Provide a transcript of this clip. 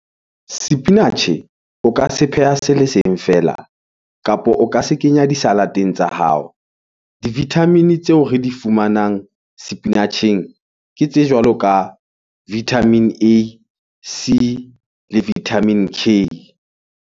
Sepinatjhe o ka se pheha se le seng fela, kapo o ka se kenya di-salad-eng tsa hao. Di-vitamin-e tseo re di fumanang sepinatjheng ke tse jwalo ka vitamin A, C le vitamin K.